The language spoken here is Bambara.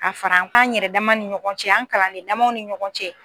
Ka fara an yɛrɛ dama ni ɲɔgɔn cɛ an kalanden damaw ni ɲɔgɔn cɛ.